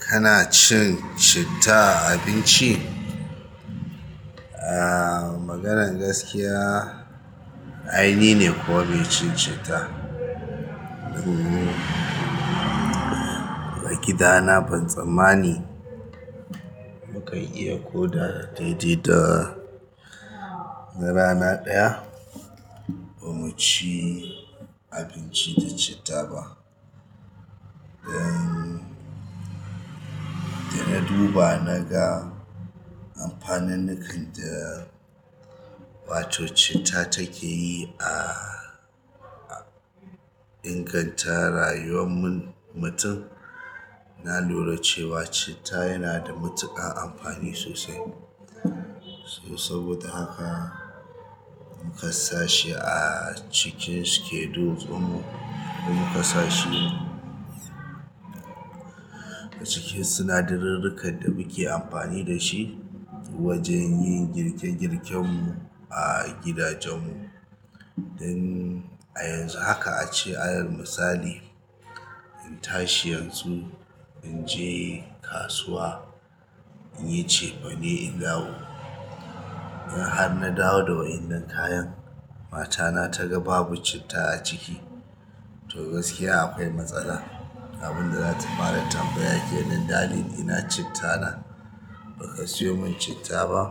Kana cin citta, a abinci? Ah, maganar gaskiya, ai ni ne kuwa mai cin citta. A gida na ban tsammani mukan iya ko da daidaita rana ɗaya bamu ci abinci da citta ba. Dan da na duba na ga amfanin da wa to citta take yi a inganta rayuwar mun mutum. Na lura cewa citta yana da matuƙar amfani sosai. To saboda haka muka sa shi a cikin schedule ɗin mu. Muka sa shi a cikin sinadarirrikan da muke amfani dashi wajen yin girke girken mu a gidajen mu. Dan a yanzu haka ace alal misali, in tashi yanzu in je kasuwa in yi cefane in dawo. In har na dawo da waɗannan kayan, matana ta ga babu citta a ciki, to gaskiya akwai matsala. Abinda za ta fara tambaya kenan. "Daddy ina citta na? Baka siyo mun citta ba?"